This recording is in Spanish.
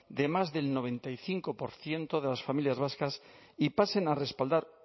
de más del noventa y cinco por ciento de las familias vascas y pasen a respaldar